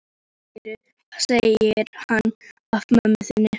Hvað segir hann af mömmu þinni?